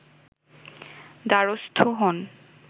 দ্বারস্থ হন